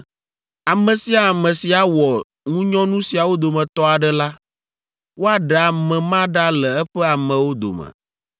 “ ‘Ame sia ame si awɔ ŋunyɔnu siawo dometɔ aɖe la, woaɖe ame ma ɖa le eƒe amewo dome.